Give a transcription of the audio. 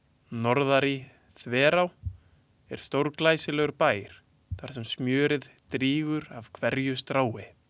Norðari-Þverá er stórglæsilegur bær þar sem smjörið drýpur af hverju strái.